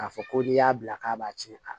K'a fɔ ko n'i y'a bila k'a b'a tiɲɛ a la